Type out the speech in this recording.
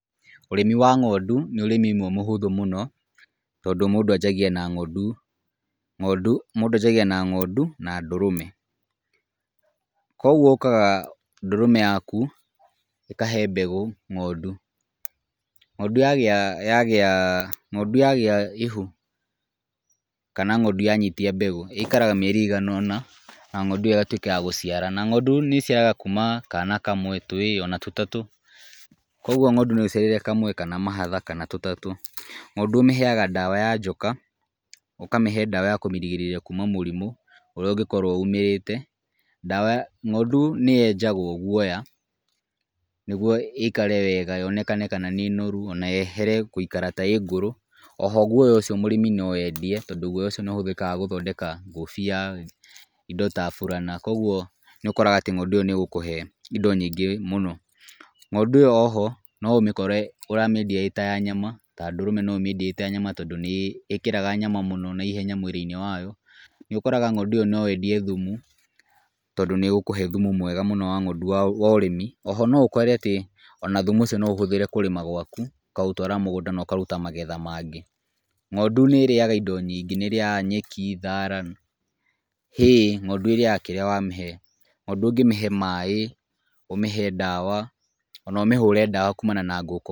Ũrĩmi wa ng'ondu nĩ ũrĩmi ũmwe mũhũthũ mũno tondũ mũndũ anjagia na ng'ondu na ndũrũme. Koguo ũkaga ndũrũme yaku ĩkahe mbegũ ng'ondu. Ng'ondu yagĩa ihu kana ng'ondu yanyitia mbegũ, ĩikaraga mĩeri ĩigana ũna na ng'ondu ĩyo ĩgatuĩka ya gũciara. Na ng'ondu nĩ ĩciaraga kuuma kana kamwe, twĩrĩ ona tũtatũ, koguo ng'ondu no ĩciare kamwe kana mahatha kana tũtatũ. Ng'ondu ũmĩheaga ndawa ya njoka, ũkamĩhe ndawa ya kũmĩgirĩrĩria kuuma mũrimũ ũrĩa ũngĩkorwo umĩte. Ng'ondu nĩ yenjagwo guoya nĩguo ĩikare wega yonekane kana nĩ noru ona yehere gũikara ta ĩĩ ngũrũ. O ho guoya ũcio mũrĩmi no endie tondũ guoya ũcio nĩ ũhũthĩkaga gũthondeka ngũbia, indo ta burana. Koguo nĩ ũkoraga atĩ ng'ondu ĩyo nĩ ĩgũkũhe indo nyingĩ mũno. Ng'ondu ĩyo o ho no ũmĩkore ũramĩendia ĩĩ ta ya nyama, ta ya ndũrũme no ũmĩendie ĩĩ ta ya nyama tondũ nĩ ĩkĩraga nyama mũno naihenya mwĩrĩ-inĩ wayo. Nĩ ũkoraga ng'ondu ĩyo no wendie thumu tondũ nĩ ĩgũkũhe thumu mwega mũno wa ng'ondu wa ũrĩmi. O ho no ũkore atĩ ona thumu ũcio no ũhũthĩre kũrĩma gwaku, ũkaũtwara mügũnda na ũkaruta magetha mangĩ. Ng'ondu nĩ ĩrĩaga indo nyingĩ, nĩ ĩrĩaga nyeki, thara hay ng'ondu ĩrĩaga kĩrĩa wamĩhe. Ng'ondu ũngĩmĩhe maĩ, ũmĩhe ndawa ona ũmĩhũre ndawa kuumana na ngũ...